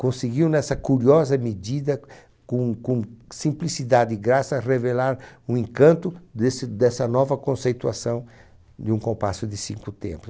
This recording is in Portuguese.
conseguiu nessa curiosa medida, com com simplicidade e graça, revelar um encanto desse dessa nova conceituação de um compasso de cinco